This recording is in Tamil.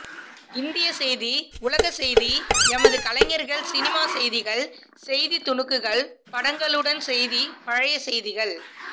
இந்தியச் செய்தி உலகச்செய்தி எமது கலைஞர்கள் சினிமா செய்திகள் செய்தித் துணுக்குகள் படங்களுடன் செய்தி பழைய செய்திகள்